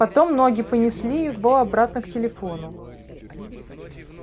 потом ноги понесли его обратно к телефону